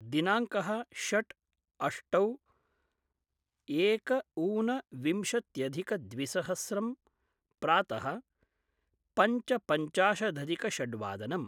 दिनांकः षट् अष्टौ एक ऊन विंशत्यधिक द्विसहस्रं प्रात: पञ्च पञ्चाशद् अधिक षड् वादनम्